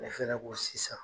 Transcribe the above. Ne fɛnɛ ko sisan